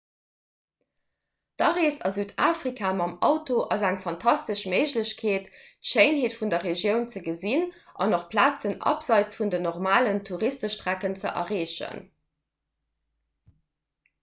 d'arees a südafrika mam auto ass eng fantastesch méiglechkeet d'schéinheet vun der regioun ze gesinn an och plazen abseits vun den normalen touristestrecken ze erreechen